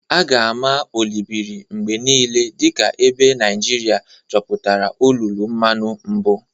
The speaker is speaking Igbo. A ga-ama Olobiri mgbe niile dị ka ebe Naijiria chọpụtara olulu mmanu mbụ.